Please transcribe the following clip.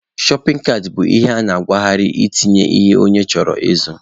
Shọpin kaat bụ ihe a na-akwagharị etinye ihe onye chọrọ ịzụ.